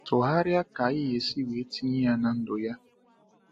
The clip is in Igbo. Tụgharịa ka iyesi wee tinye ya na ndụ ya.